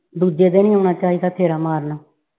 ਦੂਜੇ ਦਿਨ ਈ ਆਉਣਾ ਚਾਹੀਦਾ ਸੀ ਫੇਰਾ ਮਾਰਨ।